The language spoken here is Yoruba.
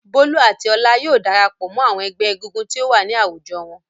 Bólú àti Ọlá yóò dara pọ̀ mọ́ àwọn ẹgbẹ́ egúngún tí ó wà ní àwùjọ wọn.